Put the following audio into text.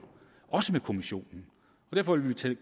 med europa kommissionen derfor vil vi tage